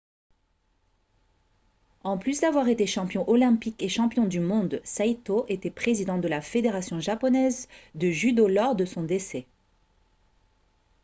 en plus d'avoir été champion olympique et champion du monde saito était président de la fédération japonaise de judo lors de son décès